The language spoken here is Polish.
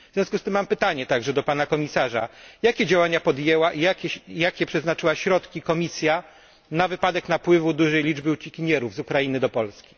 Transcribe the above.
W związku z tym mam pytanie także do pana komisarza jakie działania podjęła i jakie przeznaczyła środki Komisja na wypadek napływu dużej liczby uciekinierów z Ukrainy do Polski?